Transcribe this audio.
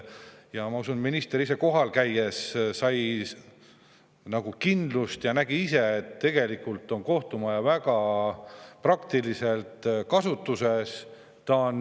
Ma usun, et minister ise kohal käies sai kindlust ja nägi ise, et tegelikult on kohtumaja väga praktiliselt kasutuses.